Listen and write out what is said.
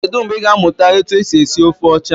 Kedụ mgbe i ga amụta etu esi esi ofe ọcha?